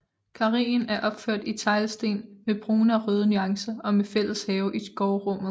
Karreen er opført i teglsten med brune og røde nuancer og med fælles have i gårdrummet